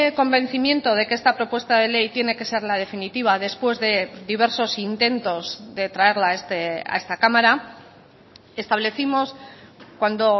convencimiento de que esta propuesta de ley tiene que ser la definitiva después de diversos intentos de traerla a esta cámara establecimos cuando